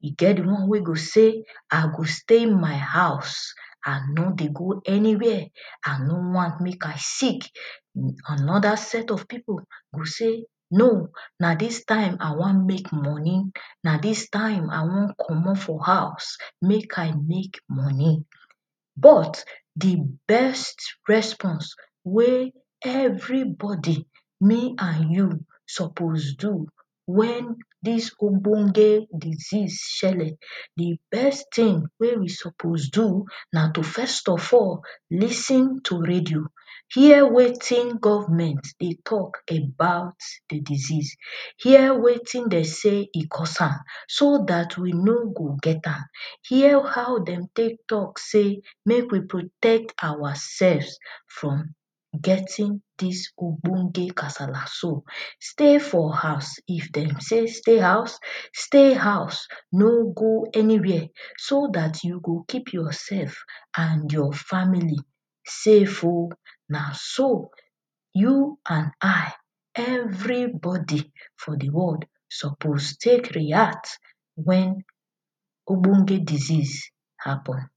e get the one wey go say, i go stay my house i no dey go anywhere i no wan make i sick anoda set of people go say, no na this time i wan make money na this time i wan comot for house make i make money but the best response wey everybody me and you suppose do when this ogbonge disease shele the best thing wey we suppose do, na to first of all, lis ten to radio hear wetin govment dey talk about the disease hear wetin dem say e cause am so dat we no go get am hear how dem take talk say make we protect ourselves from getting dis ogbonge kasala so stay for house if dem say stay house, stay house; no go anywhere so dat you go keep yourself and your family save oh na so you an i suppose eeverybody for the world suppose react when ogbonge disease happen